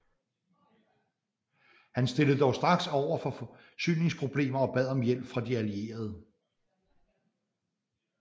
Han stilledes dog straks over for forsyningsproblemer og bad om hjælp fra De Allierede